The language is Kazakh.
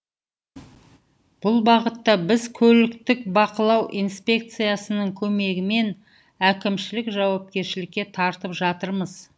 бұл бағытта біз көліктік бақылау инспекциясының көмегімен әкімшілік жауапкершілікке тартып жатырмыз